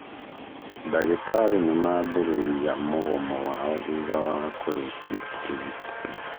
Ndagĩtarĩ nĩmambĩrĩria mũgomo wao thutha wa kũrĩkia ũrigitani.